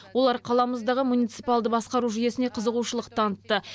олар қаламыздағы муниципалды басқару жүйесіне қызығушылық танытты